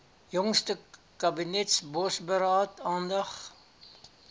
jongste kabinetsbosberaad aandag